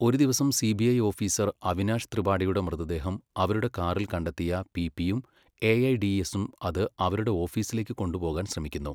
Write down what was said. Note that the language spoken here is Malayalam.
ഒരു ദിവസം സിബിഐ ഓഫീസർ അവിനാഷ് ത്രിപാഠിയുടെ മൃതദേഹം അവരുടെ കാറിൽ കണ്ടെത്തിയ പിപിയും എഐഡിഎസും അത് അവരുടെ ഓഫീസിലേക്ക് കൊണ്ടുപോകാൻ ശ്രമിക്കുന്നു.